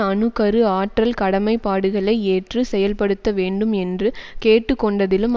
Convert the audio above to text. அணு கரு ஆற்றல் கடமைப்பாடுகளை ஏற்று செயல்படுத்த வேண்டும் என்று கேட்டு கொண்டதிலும்